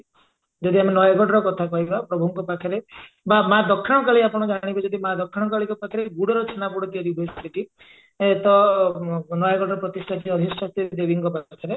ଯଦି ଆମେ ନୟାଗଡର କଥା କହିବା ପ୍ରଭୁଙ୍କ ପାଖରେ ବା ମାଆ ଦକ୍ଷିଣକାଳୀ ଆପଣ ଜାଣିବେ ଯଦି ମାଆ ଦକ୍ଷିଣକାଳୀଙ୍କ ପାଖରେ ଗୁଡର ଛେନା ଗୁଡ ତିଆରି ହୁଏ ସେଇଠି ଏ ତ ନୟାଗଡର ପ୍ରତିଷ୍ଠନୀୟ ଦେବୀଙ୍କ ପାଖରେ